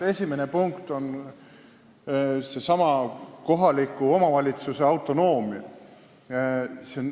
Esimene punkt on seesama kohaliku omavalitsuse autonoomia.